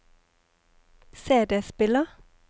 CD-spiller